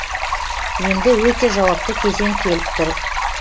енді өте жауапты кезең келіп тұр